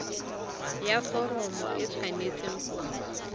ya foromo e tshwanetse go